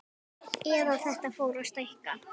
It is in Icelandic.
Eða þetta fór að stækka.